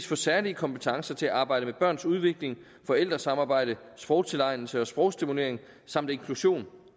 få særlige kompetencer til at arbejde med børns udvikling forældresamarbejde sprogtilegnelse og sprogstimulering samt inklusion